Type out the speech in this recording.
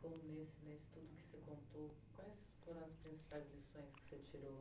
com nesse nesse tudo que você contou quais foram as principais lições que você tirou?